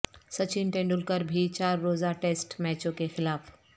سچن ٹنڈولکر بھی چار روزہ ٹیسٹ میچوں کے خلاف